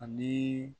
Ani